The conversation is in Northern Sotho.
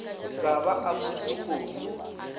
ka ba a pudi kgomo